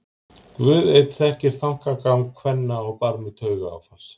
Guð einn þekkti þankagang kvenna á barmi taugaáfalls.